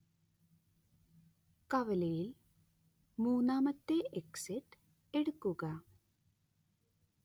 കവലയിൽ മൂന്നാമത്തെ എക്സിറ്റ് എടുക്കുക